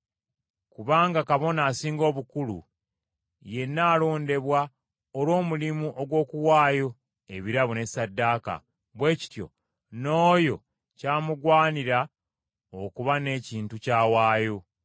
Kubanga Kabona Asinga Obukulu yenna alondebwa olw’omulimu ogw’okuwaayo ebirabo ne ssaddaaka, bwe kityo n’oyo kyamugwanira okuba n’ekintu ky’awaayo.